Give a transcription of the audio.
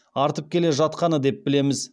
артып келе жатқаны деп білеміз